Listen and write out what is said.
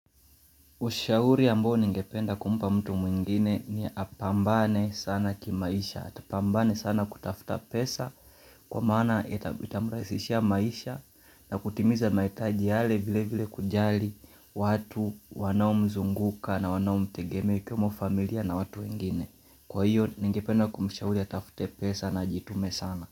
Ushahuri ambao ningependa kumpa mtu mwingine ni apambane sana kimaisha, atapambane sana kutafuta pesa kwa maana itamurahisishia maisha na kutimiza mahitaji yale vile vile kujali watu wanaomzunguka na wanaomtegeme kama familia na watu wengine. Kwa hiyo ningependa kumshauri atafute pesa na jitume sana.